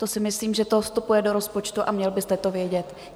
To si myslím, že to vstupuje do rozpočtu, a měl byste to vědět.